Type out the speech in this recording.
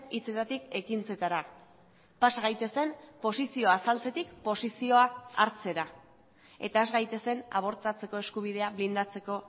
hitzetatik ekintzetara pasa gaitezen posizioa azaltzetik posizioa hartzera eta has gaitezen abortatzeko eskubidea blindatzeko